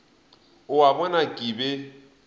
o a bona ke be